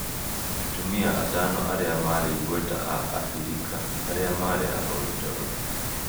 Atumia atano arĩa maarĩ igweta a Abirika arĩa maarĩ ahoi toro